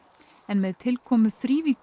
en með tilkomu